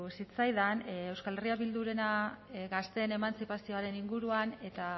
zitzaidan euskal herria bildurena gazteen emantzipazioaren inguruan eta